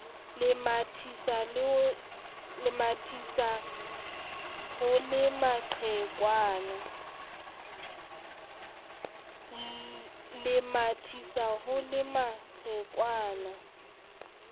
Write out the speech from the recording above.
le mathisa ho le maqhekwana